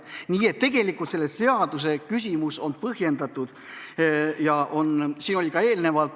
Nii et tegelikult on see eelnõu põhjendatud.